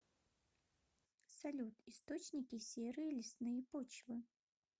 салют источники серые лесные почвы